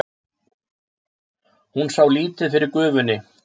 Hún sá lítið fyrir gufunni.